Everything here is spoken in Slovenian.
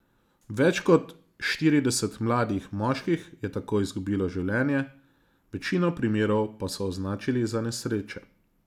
Več kot štirideset mladih moških je tako izgubilo življenje, večino primerov pa so označili za nesreče.